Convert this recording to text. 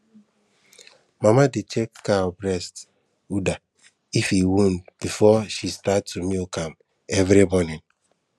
mama dey check cow breast udder if e wound before she start to milk am every morning